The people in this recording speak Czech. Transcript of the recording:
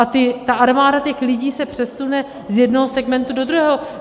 A ta armáda těch lidí se přesune z jednoho segmentu do druhého.